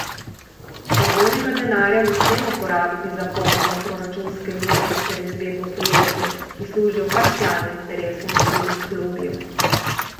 Razvojnega denarja ne smemo porabiti za polnjenje proračunske luknje ter izvedbo projektov, ki služijo parcialnim interesom vplivnih lobijev.